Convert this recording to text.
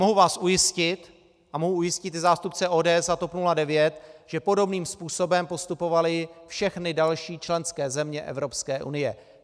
Mohu vás ujistit a mohu ujistit i zástupce ODS a TOP 09, že podobným způsobem postupovaly všechny další členské země Evropské unie.